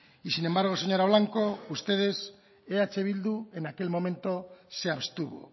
y sin embargo señora blanco ustedes eh bildu en aquel momento se abstuvo